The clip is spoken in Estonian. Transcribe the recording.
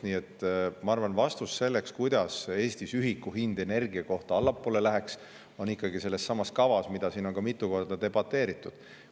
Nii et ma arvan, et vastus sellele, kuidas Eestis läheks energiaühiku hind allapoole, on ikkagi kirjas sellessamas kavas, mida on siin mitu korda debateeritud.